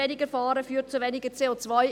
Wenigerfahren führt zu weniger CO.